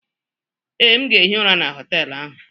Ee, m ga-ehi ụra na họtelụ ahụ.